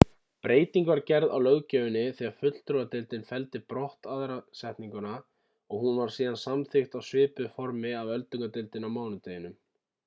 breyting var gerð á löggjöfinni þegar fulltrúadeildin felldi brott aðra setninguna og hún var síðan samþykkt á svipuðu formi af öldungadeildinni á mánudeginum